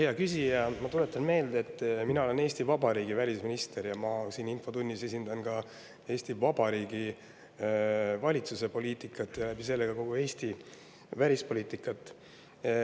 Hea küsija, ma tuletan meelde, et mina olen Eesti Vabariigi välisminister, ma siin infotunnis esindan Eesti Vabariigi valitsuse poliitikat ja sedakaudu kogu Eesti välispoliitikat.